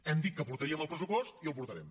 hem dit que porta·ríem el pressupost i el portarem